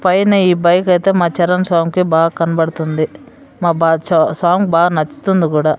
పైన ఈ బైక్ అయితే మా చరణ్ స్వామికి బాగా కనబడుతుంది మా బాద్షా స్వామికి బాగా నచ్చుతుంది కూడా.